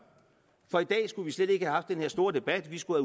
for i dag skulle vi slet ikke have haft den her store debat vi skulle